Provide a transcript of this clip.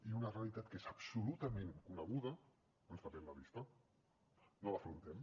i amb una realitat que és absolutament coneguda ens tapem la vista no l’afrontem